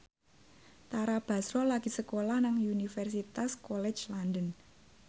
Tara Basro lagi sekolah nang Universitas College London